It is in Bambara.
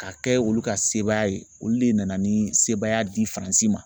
Ka kɛ olu ka sebaaya ye olu de nana ni sebaaya di Faransi ma.